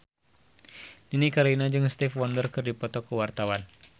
Nini Carlina jeung Stevie Wonder keur dipoto ku wartawan